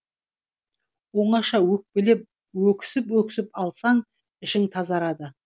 оңаша өкпелеп өксіп өксіп алсаң ішің тазарады